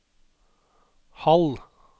halv